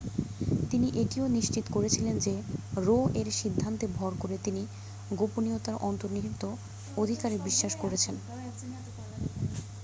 তিনি এটিও নিশ্চিত করেছিলেন যে রো-এর সিদ্ধান্তে ভর করে তিনি গোপনীয়তার অন্তর্নিহিত অধিকারে বিশ্বাস করেছেন